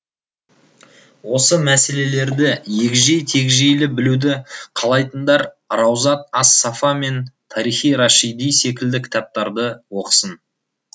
осы мәселелерді егжей тегжейлі білуді қалайтындар раузат ас сафа мен тарихи рашиди секілді кітаптарды оқысын